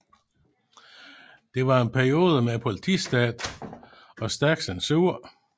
Det var en periode med politistat og stærk censur